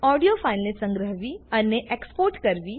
audio ફાઈલને સંગ્રહ્વી અને એક્સપોર્ટ કરવી